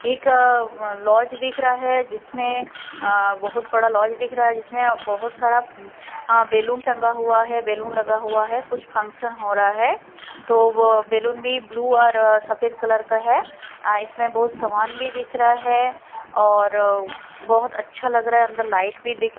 एक लॉज दिख रहा है जिसमें अ बहोत बड़ा लॉज दिख रहा है जिसमें बहोत सारा हां बैलून टंका हुआ है बैलून लगा हुआ है कुछ फंक्शन हो रहा है तो वो बैलून भी ब्ल्यू और सफेद कलर का है अ इसमें बहोत समान भी दिख रहा है और बहोत अच्छा लग रहा है अन्दर लाइट भी दिख--